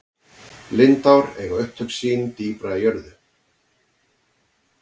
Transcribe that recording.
lindár eiga upptök sín dýpra í jörð